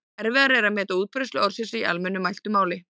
Erfiðara er að meta útbreiðslu orðsins í almennu mæltu máli.